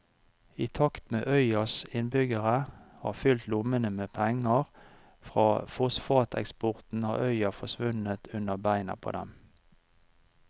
I takt med at øyas innbyggere har fylt lommene med penger fra fosfateksporten har øya forsvunnet under beina på dem.